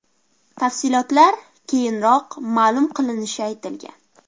Tafsilotlar keyinroq ma’lum qilinishi aytilgan.